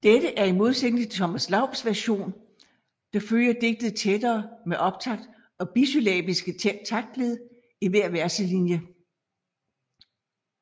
Dette er i modsætning til Thomas Laubs version der følger digtet tættere med optakt og bisyllabiske taktled i hver verselinje